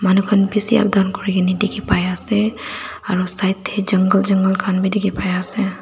manu kha bishi updown kori krna dekhi pai ase aro side te jungle jungle khan bi dekhi pai ase.